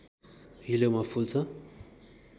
हिलोमा फुल्छ